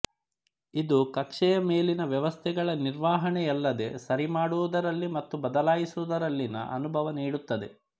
ಇದು ಕಕ್ಷೆಯ ಮೇಲಿನ ವ್ಯವಸ್ಥೆಗಳ ನಿರ್ವಹಣೆಯಲ್ಲದೇ ಸರಿಮಾಡುವುದರಲ್ಲಿ ಮತ್ತು ಬದಲಾಯಿಸುವುದರಲ್ಲಿನ ಅನುಭವ ನೀಡುತ್ತದೆ